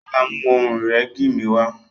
yàrá mú Ohun ìrẹ́gi mí wá.